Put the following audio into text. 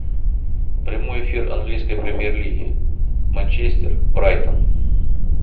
прямой эфир английской премьер лиги манчестер брайтон